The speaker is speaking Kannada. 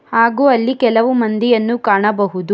ಹಾಗು ಅಲ್ಲಿ ಕೆಲವು ಮಂದಿಯನ್ನು ಕಾಣಬಹುದು.